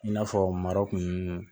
I n'a fɔ mara kun